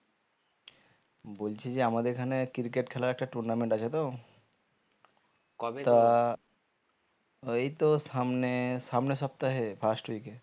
বলছি যে আমাদের এখানে cricket খেলার একটা tournament আছে তো ওই তো সামনে সামনের সপ্তাহে first week এ